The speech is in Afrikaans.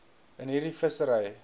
in hierdie vissery